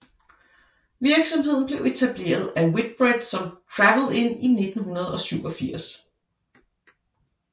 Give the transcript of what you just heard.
Virksomheden blev etableret af Whitbread som Travel Inn i 1987